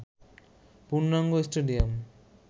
পূর্ণাঙ্গ স্টেডিয়াম